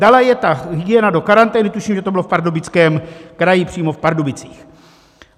Dala je ta hygiena do karantény, tuším, že to bylo v Pardubickém kraji, přímo v Pardubicích.